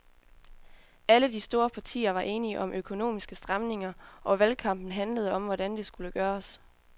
Alle de store partier var enige om økonomiske stramninger, og valgkampen handlede om, hvordan det skulle gøres.